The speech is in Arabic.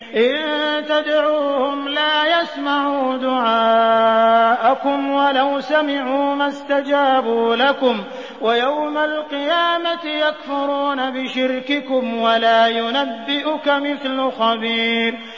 إِن تَدْعُوهُمْ لَا يَسْمَعُوا دُعَاءَكُمْ وَلَوْ سَمِعُوا مَا اسْتَجَابُوا لَكُمْ ۖ وَيَوْمَ الْقِيَامَةِ يَكْفُرُونَ بِشِرْكِكُمْ ۚ وَلَا يُنَبِّئُكَ مِثْلُ خَبِيرٍ